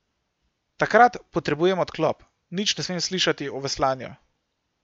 Takrat potrebujem odklop, nič ne smem slišati o veslanju.